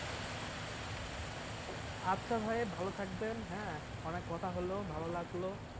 আচ্ছা ভাই ভালো থাকবেন হ্যাঁ অনেক কথা হলো ভালো লাগলো